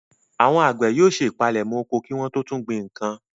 Àwọn àgbẹ̀ yóò ṣe ìpalẹ̀mọ́ oko kí wọ́n tó tún gbìn nǹkan.